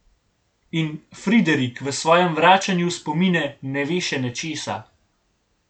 In Friderik v svojem vračanju v spomine ne ve še nečesa.